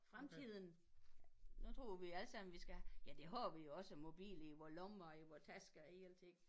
Fremtiden nu tror vi alle sammen vi skal ja det har vi jo også mobil i vor lommer vor tasker og i alting